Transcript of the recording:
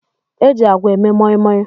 E ji agwa eme moimoi